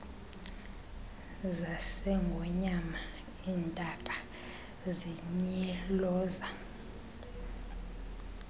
zasengonyama iintaka zintyiloza